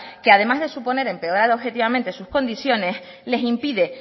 que además de suponer empeorar objetivamente sus condiciones les impide